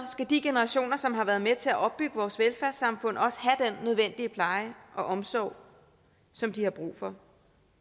skal de generationer som har været med til at opbygge vores velfærdssamfund også have nødvendige pleje og omsorg som de har brug for